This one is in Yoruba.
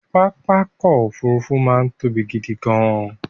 Pápá ọkọ̀ Òfurufú máa ń tóbi gidi gan-an